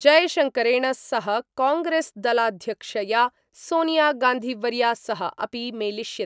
जयशंकरेण सह कांग्रेस्दलाध्यक्षया सोनियागांधीवर्या सह अपि मेलिष्यति।